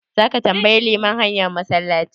Zaka tambayi liman hanyar massalaci?